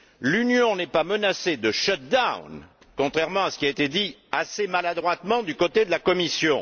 L'Union n'est pas menacée de shut down, contrairement à ce qui a été dit assez maladroitement du côté de la Commission.